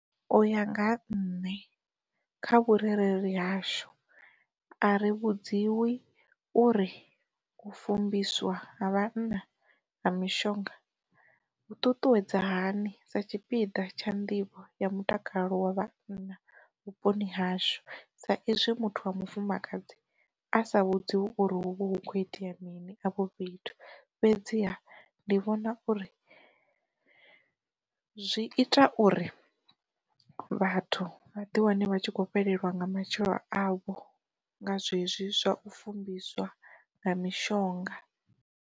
Uya nga ha nne kha vhurereli yashu a ri vhudziwi uri u fumbiswa ha vhana na mishonga u ṱuṱuwedza hani sa tshipiḓa tsha nḓivho ya mutakalo wa vhanna vhuponi hashu, sa izwi muthu wa mufumakadzi, a sa vhudziwi uri huvho hu kho itea mini afho fhethu fhedziha ndi vhona uri zwi ita uri vhathu vha ḓi wane vha tshi khou fhelelwa nga matshilo avho nga zwezwi zwa u fumbiswa nga mishonga.